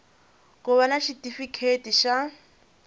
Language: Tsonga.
ku va na xitifiketi xa